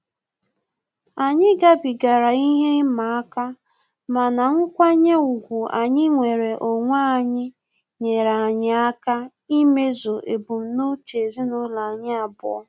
Anyị gabigara ihe ịma aka, mana nkwanye ùgwù anyị nwere onwe anyị nyere anyị aka imezu ebumnuche ezinụlọ anyi abụọ